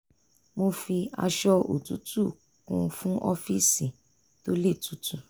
mo fi aṣọ òtútù kun un fún ọ́fíìsì tó le tutu